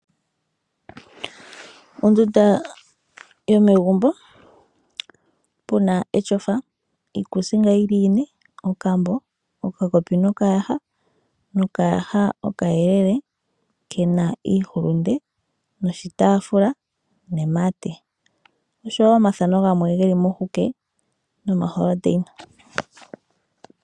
Ondunda yomegumbo pu na eshofa, iikusinga yi li ine, okambo, okakopi nokayaha, nokayaha okayelele ke na iihulunde, noshitafula nemate. Oshowo omathano gamwe ge li mohuke nomalapi gopekende.